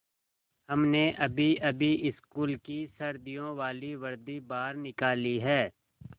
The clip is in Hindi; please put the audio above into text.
हमने अभीअभी स्कूल की सर्दियों वाली वर्दी बाहर निकाली है